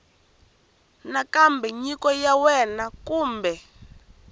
nakambe nyiko ya wena kumbe